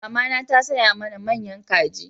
Mamana ta saya mana manya kaji